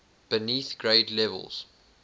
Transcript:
beneath grade levels